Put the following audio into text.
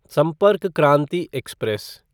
संपर्क क्रांति एक्सप्रेस